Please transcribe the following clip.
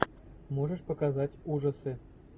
можешь показать ужасы